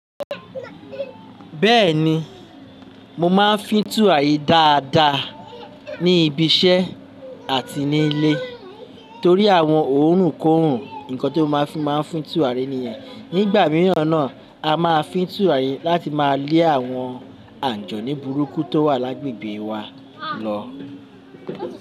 Bẹ́ẹ̀ni, mo máa ń fín tùràrí dáadáa ní ibiṣẹ́ àti ní ilé torí àwọn òórùnkoòrùn nǹkan tí mo máa ń fi máa ń fín tùràrí nìyẹn. Nígbà mìíràn náà, a máa fín tùràrí láti máa lé àwọn àjọ̀ní burúkú tó wà lágbègbè wa lọ.